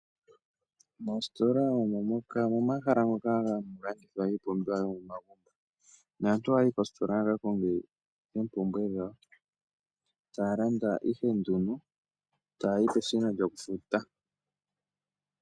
Moositola omo momahala moka hamu landithwa iipumbiwa yomomagumbo, naantu ohaya yi kosiitola ya ka konge oompumbwe dhawo taya landa ihe nduno etaya yi peshina lyokufuta.